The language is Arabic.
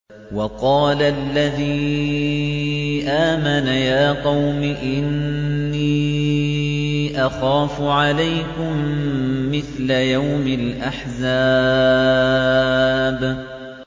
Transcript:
وَقَالَ الَّذِي آمَنَ يَا قَوْمِ إِنِّي أَخَافُ عَلَيْكُم مِّثْلَ يَوْمِ الْأَحْزَابِ